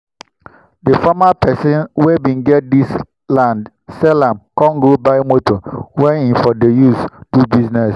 dey former pesin wen bin get dis land sell am com go buy moto wen him for dey use do business